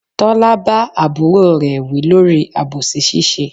Tọ́lá bá àbúrò rè wí lórí àbòsí ṣíṣe.